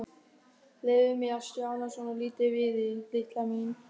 Leyfðu mér að stjana svolítið við þig, litla mín.